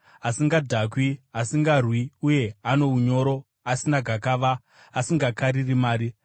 asingadhakwi, asingarwi uye ano unyoro, asina gakava, asingakariri mari.